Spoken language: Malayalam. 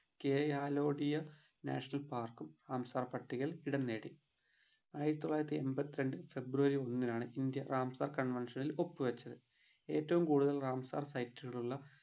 കെ ആലോടിയ national park ഉം റാംസാർ പട്ടികയിൽ ഇടം നേടി ആയിരത്തി തൊള്ളായിരത്തി എമ്പത്തി രണ്ടിൽ february ഒന്നിനാണ് ഇന്ത്യ റാംസാർ convention ഇൽ ഒപ്പ് വെച്ചത് ഏറ്റവും കൂടുതൽ റാംസാർ site കൾ ഉള്ള